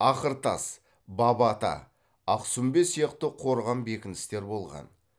ақыртас баба ата ақсүмбе сияқты қорған бекіністер болған